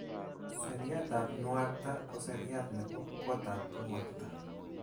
Seriatab nuakta ko seriat nebo kotab nuakta.